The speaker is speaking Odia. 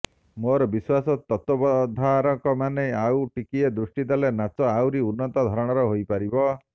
ମୋର ବିଶ୍ୱାସ ତତ୍ତ୍ୱାବଧାରକମାନେ ଆଉ ଟିକିଏ ଦୃଷ୍ଟି ଦେଲେ ନାଚ ଆହୁରି ଉନ୍ନତ ଧରଣର ହୋଇପାରିବ